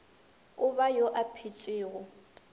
o ba yo a phetšego